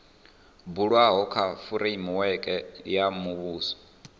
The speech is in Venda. bulwaho kha fureimiweke ya muvhuso